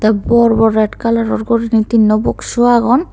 bor bor red coloror guriney tinno bokdsu agon.